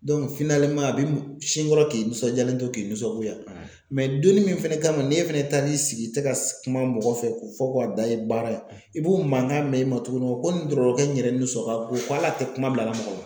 a bɛ sin dɔrɔn k'i nisɔndiyalen to k'i nisɔngoya donni min fɛnɛ kama n'e fɛnɛ taar'i sigi i tɛ ka kuma mɔgɔ fɛ k'o fɔ ko a dan ye baara ye i b'o mankan mɛn i ma tuguni ko nin dɔgɔtɔrɔkɛ in yɛrɛ nisɔn ka go ko hali a tɛ kuma bila mɔgɔ la